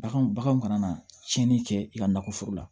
Bagan bagan kana na tiɲɛni kɛ i ka nakɔ foro la